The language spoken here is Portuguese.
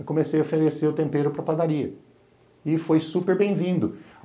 Eu comecei a oferecer o tempero para padaria e foi super bem-vindo.